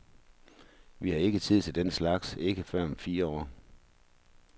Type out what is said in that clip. Vi har ikke tid til den slags, ikke før om fire år.